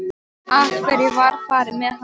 Af hverju var farið með hana?